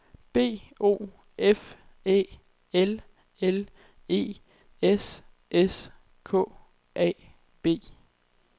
B O F Æ L L E S S K A B